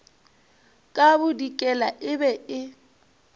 ka bodikela e be e